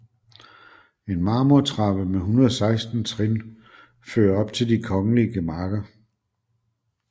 En marmortrappe med 116 trin fører op til de kongelige gemakker